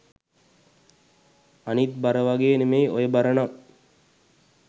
අනිත් බර වගේ නෙමෙයි ඔය බර නම්